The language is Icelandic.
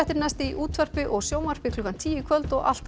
næst í útvarpi og sjónvarpi klukkan tíu í kvöld og alltaf